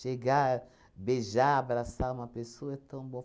Chegar, beijar, abraçar uma pessoa é tão bom.